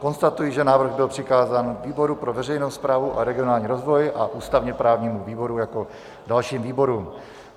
Konstatuji, že návrh byl přikázán výboru pro veřejnou správu a regionální rozvoj a ústavně-právnímu výboru jako dalším výborům.